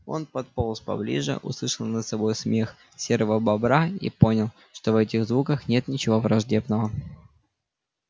он подполз поближе услышал над собой смех серого бобра и понял что в этих звуках нет ничего враждебного